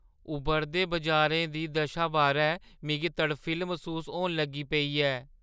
उब्भरदे बजारें दी दशा बारै मिगी तड़फिल्ल मसूस होन लगी पेई ऐ।